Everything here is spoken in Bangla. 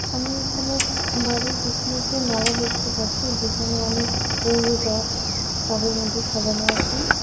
আমি এইখানে এক বাড়ির পিছনে একটি নালা দেখতে পাচ্ছি যেখানে অনেক ফুল গাছ টবের মধ্যে সাজানো আছে।